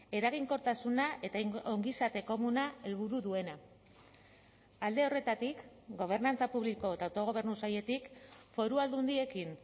eraginkortasuna eta ongizate komuna helburu duena alde horretatik gobernantza publiko eta autogobernu sailetik foru aldundiekin